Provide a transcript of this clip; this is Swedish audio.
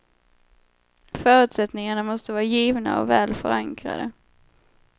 Förutsättningarna måste vara givna och väl förankrade.